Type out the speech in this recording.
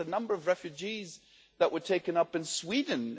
Look at the number of refugees that were taken in in Sweden.